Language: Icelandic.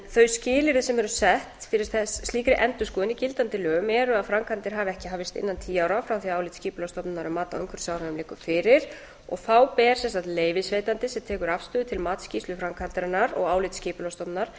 þau skilyrði sem eru sett fyrir slíkri endurskoðun í gildandi lögum eru að framkvæmdir hafi ekki hafist innan tíu ára frá því að álit skipulagsstofnunar um mat á umhverfisáhrifum liggur fyrir þá ber sem sagt leyfisveitanda sem tekur afstöðu til matsskýrslu framkvæmdarinnar og álits skipulagsstofnunar